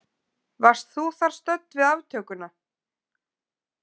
Varst þú þar stödd við aftökuna?